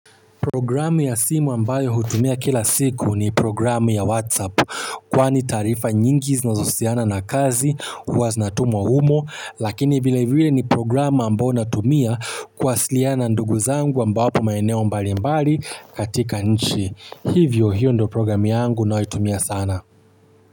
Programu ya simu ambayo hutumia kila siku ni programu ya WhatsApp kwani taarifa nyingi zinazohusiana na kazi huwa zinatumwa humo lakini bila hivyo ni programu ambayo natumia kuwasiliana na ndugu zangu ambao wapo maeneo mbali mbali katika nchi. Hivyo hiyo ndio programu yangu na huitumia sana.